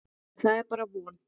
En það er bara von.